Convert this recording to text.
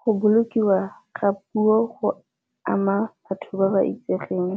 Go bolokiwa ga puo go ama batho ba ba itsegeng